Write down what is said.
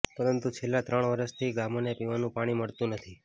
પરંતુ છેલ્લાં ત્રણ વર્ષથી ગામોને પીવાનંુ પાણી મળતંુ નથી